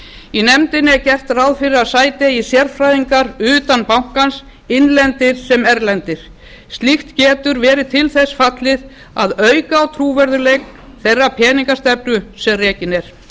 í nefndinni er gert ráð fyrir að sæti eigi sérfræðingar utan bankans innlendir sem erlendir slíkt getur verið til þess fallið að auka á trúverðugleika þeirrar peningastefnu sem rekin er